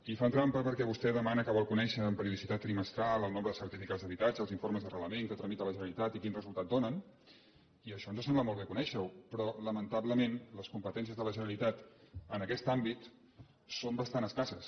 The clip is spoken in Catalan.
i fan trampa perquè vostè demana que vol co·nèixer amb periodicitat trimestral el nombre de certifi·cats d’habitatge els informes d’arrelament que tramita la generalitat i quin resultat donen i això ens sembla molt bé conèixer·ho però lamentablement les compe·tències de la generalitat en aquest àmbit són bastant escasses